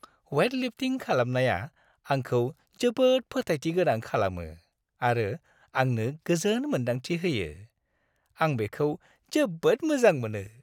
Weight lifting खालामनाया आंखौ जोबोद फोथायथि गोनां खालामो आरो आंनो गोजोन मोन्दांथि होयो। आं बेखौ जोबोद मोजां मोनो।